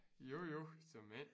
Jo jo såmænd